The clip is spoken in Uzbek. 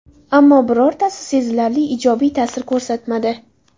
Ammo, birortasi sezilarli ijobiy ta’sir ko‘rsatmadi.